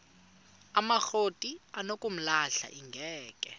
amakrot anokulamla ingeka